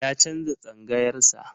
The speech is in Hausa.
Ya canza tsangayar sa.